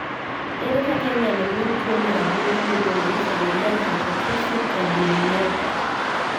Ere kaka inyalo nyuol tuwo mar adundo miluongo ni familial hypertrophic cardiomyopathy?